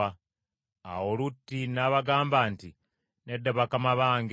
Awo Lutti n’abagamba nti, “Nedda bakama bange;